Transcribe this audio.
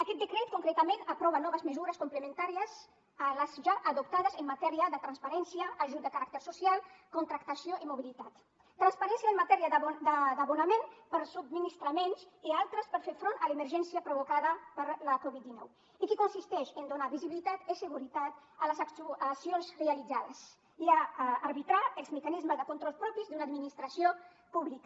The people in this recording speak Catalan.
aquest decret concretament aprova noves mesures complementàries a les ja adoptades en matèria de transparència ajuts de caràcter social contractació i mobilitat transparència en matèria d’abonaments per a subministraments i altres per fer front a l’emergència provocada per la covid dinou i que consisteix en donar visibilitat i seguretat a les actuacions realitzades i a arbitrar els mecanismes de control propis d’una administració pública